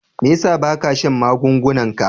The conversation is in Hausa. Me yasa ba ka shan magungunan ka?